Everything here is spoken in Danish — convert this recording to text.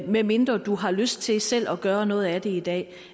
medmindre du har lyst til selv at gøre noget af det i dag